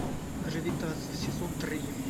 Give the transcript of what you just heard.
гравитация сезон три